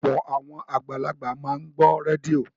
Ọ̀pọ̀ àwọn àgbàlagbà máa ń gbọ́ rédíò